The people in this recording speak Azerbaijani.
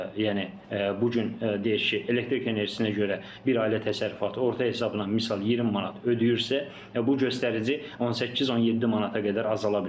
yəni bu gün deyək ki, elektrik enerjisinə görə bir ailə təsərrüfatı orta hesabla misal 20 manat ödəyirsə, bu göstərici 18-17 manata qədər azala biləcək.